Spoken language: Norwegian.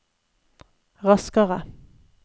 raskere